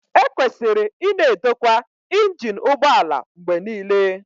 Ekwesịrị ịna edokwa injin ụgbọ ala mgbe niile